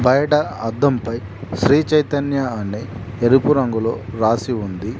బయట అద్దం పై శ్రీ చైతన్య అని ఎరుపు రంగులో రాసి ఉంది.